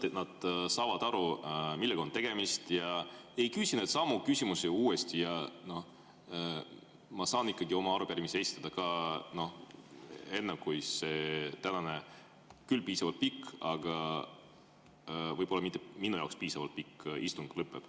Siis nad saavad aru, millega on tegemist, ja ei küsi samu küsimusi uuesti, ja mina saan oma arupärimise esitada enne, kui see tänane, küll piisavalt pikk, aga võib-olla minu jaoks mitte piisavalt pikk istung lõpeb.